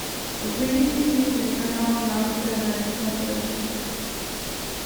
выведи мне телеканал нано тв на смотрешке